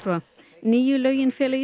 nýju lögin fela í